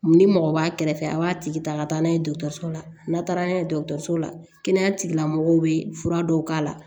Ni mɔgɔ b'a kɛrɛfɛ a b'a tigi ta ka taa n'a ye dɔgɔtɔrɔso la n'a taara n'a ye dɔgɔtɔrɔso la kɛnɛya tigilamɔgɔw bɛ fura dɔw k'a la